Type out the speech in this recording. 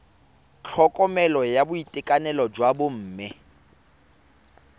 tlhokomelo ya boitekanelo jwa bomme